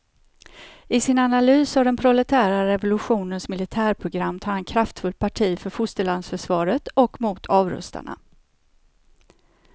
I sin analys av den proletära revolutionens militärprogram tar han kraftfullt parti för fosterlandsförsvaret och mot avrustarna.